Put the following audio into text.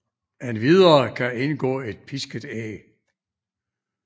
Endvidere kan indgå et pisket æg